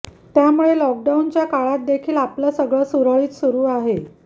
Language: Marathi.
त्यामुळे लॉकडाऊनच्या काळात देखील आपलं सगळ सुरळीत सुरू आहे